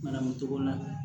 Manamu togo la